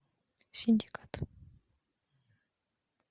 синдикат